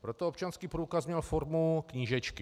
Proto občanský průkaz měl formu knížečky.